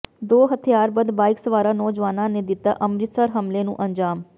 ਦੋ ਹਥਿਆਰਬੰਦ ਬਾਈਕ ਸਵਾਰ ਨੌਜਵਾਨਾਂ ਨੇ ਦਿੱਤਾ ਅੰਮ੍ਰਿਤਸਰ ਹਮਲੇ ਨੂੰ ਅੰਜ਼ਾਮ